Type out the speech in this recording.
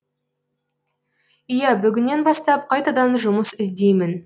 иә бүгіннен бастап қайтадан жұмыс іздеймін